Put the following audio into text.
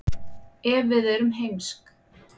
ef við erum heimsk